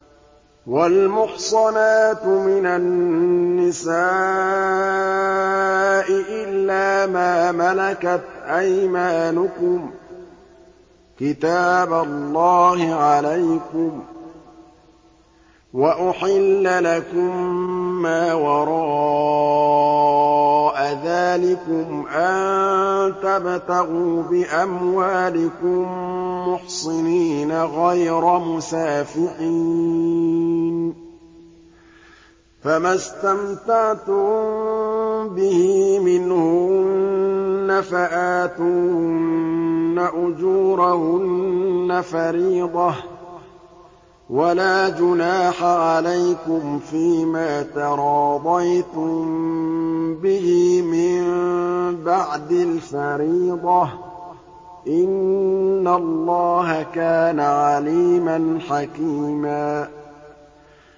۞ وَالْمُحْصَنَاتُ مِنَ النِّسَاءِ إِلَّا مَا مَلَكَتْ أَيْمَانُكُمْ ۖ كِتَابَ اللَّهِ عَلَيْكُمْ ۚ وَأُحِلَّ لَكُم مَّا وَرَاءَ ذَٰلِكُمْ أَن تَبْتَغُوا بِأَمْوَالِكُم مُّحْصِنِينَ غَيْرَ مُسَافِحِينَ ۚ فَمَا اسْتَمْتَعْتُم بِهِ مِنْهُنَّ فَآتُوهُنَّ أُجُورَهُنَّ فَرِيضَةً ۚ وَلَا جُنَاحَ عَلَيْكُمْ فِيمَا تَرَاضَيْتُم بِهِ مِن بَعْدِ الْفَرِيضَةِ ۚ إِنَّ اللَّهَ كَانَ عَلِيمًا حَكِيمًا